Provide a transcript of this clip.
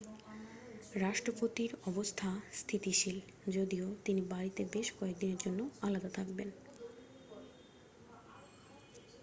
রাষ্ট্রপতির অবস্থা স্থিতিশীল যদিও তিনি বাড়িতে বেশ কয়েকদিনের জন্য আলাদা থাকবেন